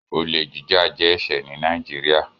Olè jíjà jẹ́ ẹ̀ṣẹ̀ ní Nàìjíríà.